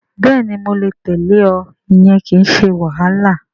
Bẹ́ẹ̀ni mo lè tẹ̀lẹ́ ọ. Ìyẹn kìí ṣe wàhálà